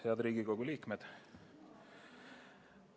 Head Riigikogu liikmed!